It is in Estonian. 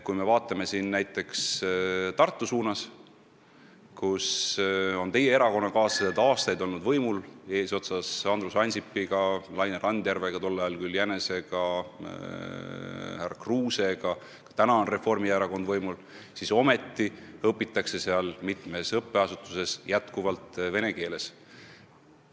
Kui me aga vaatame näiteks Tartu poole, kus on aastaid olnud võimul teie erakonnakaaslased eesotsas Andrus Ansipi, Laine Randjärve – tol ajal oli ta Laine Jänes – ja härra Kruusega, siis näeme, et seal õpitakse mitmes õppeasutuses endiselt vene keeles.